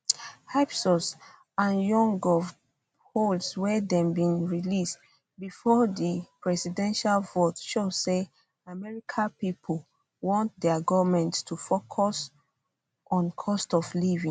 ipsos and yougov polls wey dem bin release before di presidential vote show say america pipo want dia goment to focus on cost of living